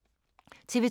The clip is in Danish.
TV 2